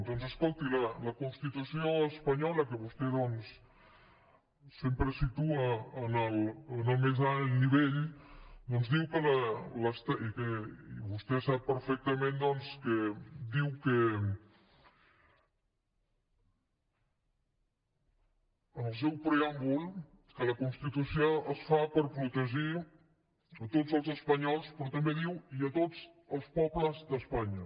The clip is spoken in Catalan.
doncs escolti’m la constitució espanyola que vostè sempre situa en el més alt nivell vostè sap perfectament que diu en el seu preàmbul que la constitució es fa per protegir tots els espanyols però també diu i tots els pobles d’espanya